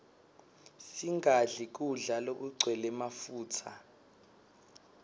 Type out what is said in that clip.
singadli kudla lokugcwele mafutsa